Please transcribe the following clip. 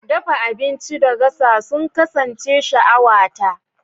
Dafa abinci da gasa sun kasance sha'awata.